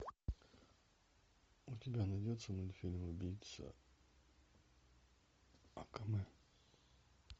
у тебя найдется мультфильм убийца акаме